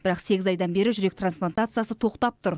бірақ сегіз айдан бері жүрек трансплантациясы тоқтап тұр